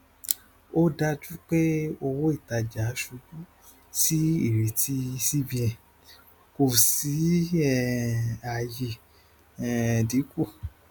ó dájú pé owóìtajà ṣubú sí ìrètí cbn kò sí um àyè um dínkù